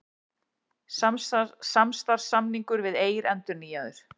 Samstarfssamningur við Eir endurnýjaður